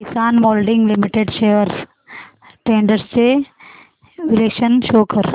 किसान moulding limited shares trends चे विश्लेषण show कर